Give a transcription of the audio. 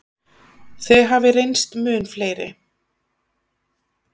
Þau hafi reynst mun fleiri.